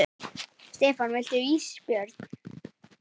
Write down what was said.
Stefán: Viltu ís Björn?